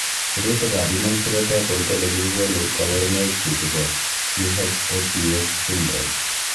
Sirutikab Human Phenotype Ontology kokonu koborunoikchu chebo CHOPS syndrome.